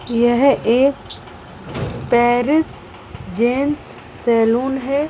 यह एक Paris gents salon है।